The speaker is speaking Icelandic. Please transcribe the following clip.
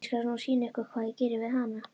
Ég skal nú sýna ykkur hvað ég geri við hana!